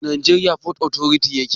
A najeriya fot otoriti yaje aiki?